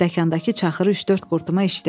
Stəkandakı çaxırı üç-dörd qurtuma içdi.